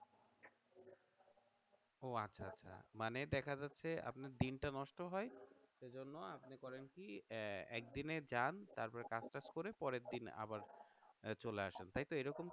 ও আচ্ছা আচ্ছা মানে দেখা যাচ্ছে আপনার দিনটা নষ্ট হয় সেজন্য আপনি করেন কি আহ একদিনে জান তারপরে কাজ টাজ করে পরের দিন আবার চলে আসেন তাইতো এরকম?